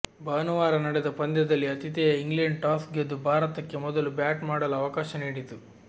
ಭಾನುವಾರ ನಡೆದ ಪಂದ್ಯದಲ್ಲಿ ಆತಿಥೇಯ ಇಂಗ್ಲೆಂಡ್ ಟಾಸ್ ಗೆದ್ದು ಭಾರತಕ್ಕೆ ಮೊದಲು ಬ್ಯಾಟ್ ಮಾಡಲು ಅವಕಾಶ ನೀಡಿತು